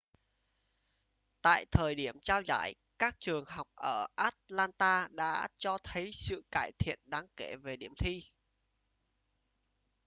tại thời điểm trao giải các trường học ở atlanta đã cho thấy sự cải thiện đáng kể về điểm thi